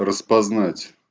распознать